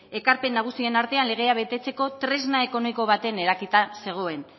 ekarpen nagusien artean legea betetzeko tresna ekonomiko baten eraketa zegoen